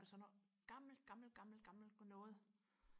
altså noget gammelt gammelt gammelt noget